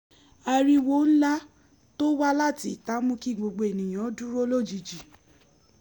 ariwo ńlá to wá láti ìta mú kí gbogbo ènìyàn dúró lójijì